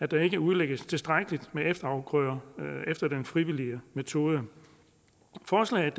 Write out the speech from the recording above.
der ikke udlægges tilstrækkeligt med efterafgrøder efter den frivillige metode forslaget